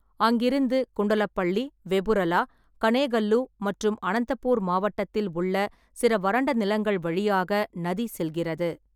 அங்கிருந்து குண்டலப்பள்ளி, வெபுரலா, கனேகல்லு மற்றும் அனந்தபூர் மாவட்டத்தில் உள்ள சில வறண்ட நிலங்கள் வழியாக நதி செல்கிறது.